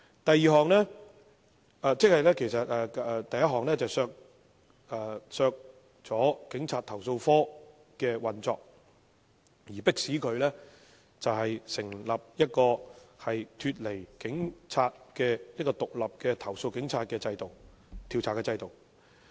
第一項修正案旨在刪除投訴警察課的運作，迫使政府成立一個獨立於警務處的制度，以調查對警察的投訴。